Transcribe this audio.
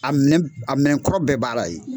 A minɛn kɔrɔ bɛɛ b'a la yen